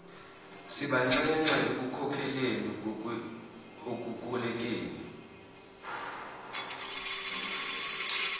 sibanxenxe ekukhankaseleni ekukolekeni